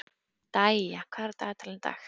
Dæja, hvað er á dagatalinu í dag?